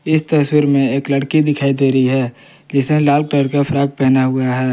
इस तस्वीर में एक लड़की दिखाई दे रही है जिसने लाल कलर का फ्रॉक पहना हुआ है।